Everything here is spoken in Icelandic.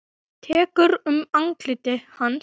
Tekur um andlit hans.